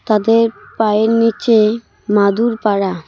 তাদের পায়ের নিচে মাদুর পারা।